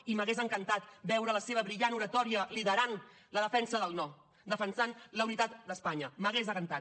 i m’hagués encantat veure la seva brillant oratòria liderant la defensa del no defensant la unitat d’espanya m’hagués encantat